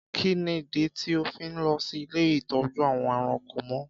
Kí nìdí tí óò fi lọ sí ilé ìtọ́jú àwọn ẹranko mọ?